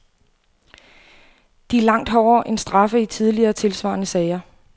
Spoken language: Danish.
De er langt hårdere end straffe i tidligere, tilsvarende sager.